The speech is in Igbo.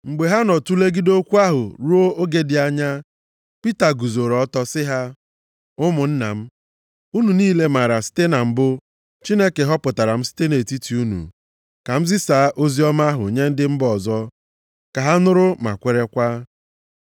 Mgbe ha nọ tulegide okwu ahụ ruo oge dị anya, Pita guzoro ọtọ sị ha, “Ụmụnna m, unu niile maara na site na mbụ Chineke họpụtara m site nʼetiti unu, ka m zisaa oziọma ahụ nye ndị mba ọzọ ka ha nụrụ, ma kwerekwa.